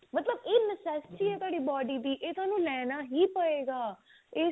ਮਤਲਬ ਇਹ necessity ਹੈ ਤੁਹਾਡੀ body ਦੀ ਇਹ ਥੋਨੂੰ ਲੈਣਾ ਹੀ ਪਵੇਗਾ